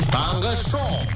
таңғы шоу